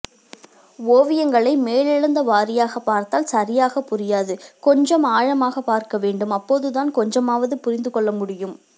ஒவியங்களை மேலேழுந்தவாரியாக பார்த்தால் சரியாக புரியாது கொஞ்சம் ஆழமாக பார்க்கவேண்டும் அப்போதுதான் கொஞ்சமாவது புரிந்து கொள்ளமுடியும்